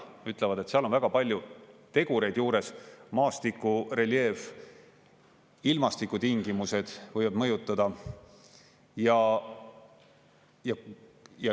Nad ütlevad, et seal on väga palju tegureid juures: maastiku reljeef ja ilmastikutingimused võivad mõjutada.